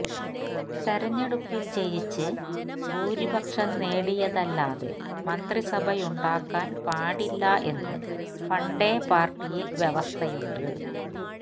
തിരഞ്ഞെടുപ്പില് ജയിച്ച് ഭൂരിപക്ഷം നേടിയല്ലാതെ മന്ത്രിസഭയുണ്ടാക്കാന് പാടില്ല എന്ന് പണ്ടേ പാര്ട്ടിയില് വ്യവസ്ഥയുണ്ട്